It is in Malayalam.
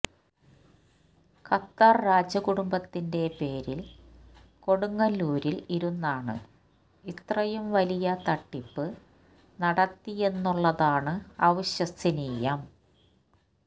ഖത്തര് രാജകുടുംബത്തിന്റെ പേരില് കൊടുങ്ങല്ലൂരില് ഇരുന്നാണ് ഇത്രയും വലിയ തട്ടിപ്പ് നടത്തിയതെന്നുള്ളതാണ് അവിശ്വസനീയം